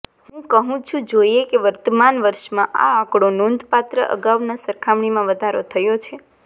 હું કહું છું જોઇએ કે વર્તમાન વર્ષમાં આ આંકડો નોંધપાત્ર અગાઉના સરખામણીમાં વધારો થયો છે